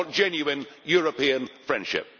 I want genuine European friendship.